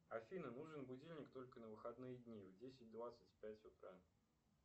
афина нужен будильник только на выходные дни в десять двадцать пять утра